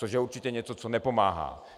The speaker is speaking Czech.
Což je určitě něco, co nepomáhá.